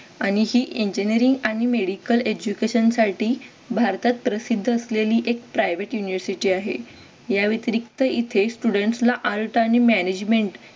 आणि ही engineering आणि medical education साठी भारतात प्रसिद्ध असलेली एक private university आहे या व्यतिरिक्त येथे student ला Alt आणि management